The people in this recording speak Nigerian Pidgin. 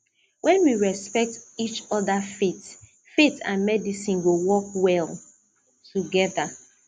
when we respect each other faith faith and medicine go work well together